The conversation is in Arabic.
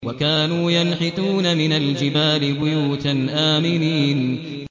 وَكَانُوا يَنْحِتُونَ مِنَ الْجِبَالِ بُيُوتًا آمِنِينَ